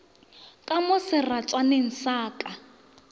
ka mo seratswaneng sa ka